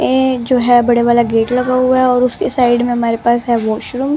ये जो है बड़े वाला गेट लगा हुआ है और उसके साइड में हमारे पास है वाशरूम ।